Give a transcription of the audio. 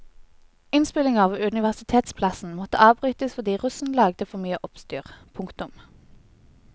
Innspillinger ved universitetsplassen måtte avbrytes fordi russen lagde for mye oppstyr. punktum